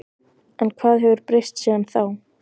En hvað hefur breyst síðan þá?